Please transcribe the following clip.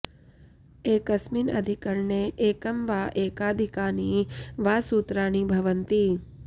एकस्मिन् अधिकरणे एकं वा एकाधिकानि वा सूत्राणि भवन्ति